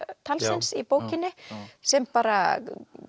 talsins í bókinni sem bara